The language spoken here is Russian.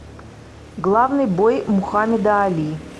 главный бой мухаммеда али